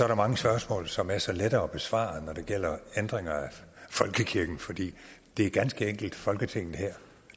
der mange spørgsmål som er så lette at besvare når det gælder ændringer af folkekirken fordi det ganske enkelt er folketinget her